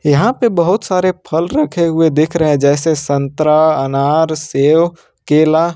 यहां पे बहुत सारे फल रखे हुए दिख रहे हैं जैसे संतरा अनार सेव केला --